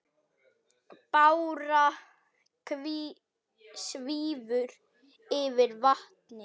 Bára svífur yfir vatnið.